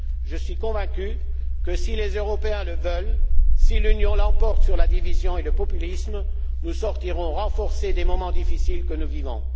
Je suis convaincu que si les Européens le veulent, si l'Union l'emporte sur la division et le populisme, nous sortirons renforcés des moments difficiles que nous vivons.